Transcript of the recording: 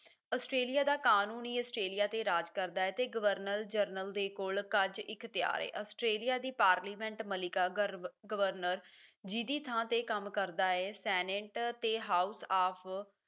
Australia ਦਾ ਕਾਨੂੰਨ ਹੀ ਆਸਟ੍ਰੇਲੀਆ ਤੇ ਰਾਜ ਕਰਦਾ ਹੈ ਤੇ ਗਵਰਨਰ ਜਨਰਲ ਦੇ ਕੋਲ ਏ ਆਸਟ੍ਰੇਲੀਆ ਦੀ ਪਾਰਲੀਮੈਂਟ ਮਿਲਕ ਗਵਰਨਰ ਜੀਹਦੀ ਥਾਂ ਤੇ ਕੰਮ ਕਰਦਾ ਹੈ ਸੈਨਟ ਤੇ house of